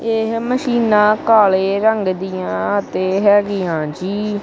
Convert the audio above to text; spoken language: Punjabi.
ਏਹ ਮਸ਼ੀਨਾਂ ਕਾਲ਼ੇ ਰੰਗ ਦਿਆਂ ਅਤੇ ਹੈਗੀਆਂ ਜੀ।